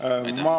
Aitüma!